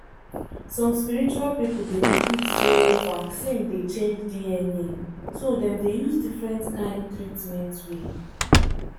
some spiritual people dey believe say vaccine dey change dna so dem dey use different kind treatment way.